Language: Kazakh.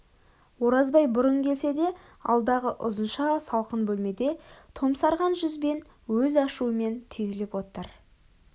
оразбай бұрын келсе де алдағы ұзынша салқын бөлмеде томсарған жүзбен өз ашуымен түйіліп отыр